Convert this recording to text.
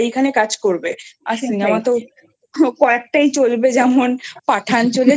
তারাই এখানে কাজ করবে আর Cinema তো কয়েকটি চলবে যেমন Pathan চলেছে